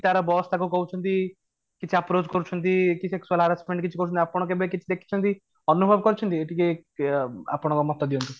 କି ତା'ର boss ତାଙ୍କୁ କହୁଛନ୍ତି କିଛି approach କରୁଛନ୍ତି କି harassment କରୁଛନ୍ତି ଆପଣ କିଛି ଦେଖିଛନ୍ତି ଅନୁଭବ କରିଛନ୍ତି ଟିକେ ବ ଆପଣଙ୍କର ମତ ଦିଅଁନ୍ତୁ